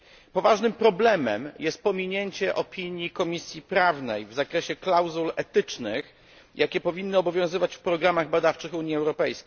Poważnym problemem jest pominięcie opinii Komisji Prawnej w zakresie klauzul etycznych, jakie powinny obowiązywać w programach badawczych UE.